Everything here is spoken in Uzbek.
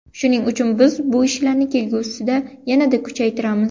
Shuning uchun biz bu ishlarni kelgusida yanada kuchaytiramiz.